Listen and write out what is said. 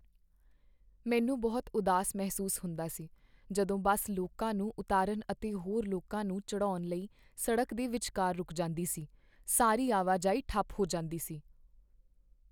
ਮੈਨੂੰ ਉਦਾਸ ਮਹਿਸੂਸ ਹੁੰਦਾ ਸੀ ਜਦੋਂ ਬੱਸ ਲੋਕਾਂ ਨੂੰ ਉਤਾਰਨ ਅਤੇ ਹੋਰ ਲੋਕਾਂ ਨੂੰ ਚੜ੍ਹਾਉਣ ਲਈ ਸੜਕ ਦੇ ਵਿਚਕਾਰ ਰੁੱਕ ਜਾਂਦੀ ਸੀ। ਸਾਰੀ ਆਵਾਜਾਈ ਠੱਪ ਹੋ ਜਾਂਦੀ ਸੀ ।